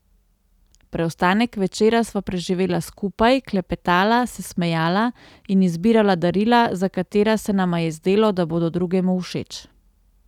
Preostanek večera sva preživela skupaj, klepetala, se smejala in izbirala darila, za katera se nama je zdelo, da bodo drugemu všeč.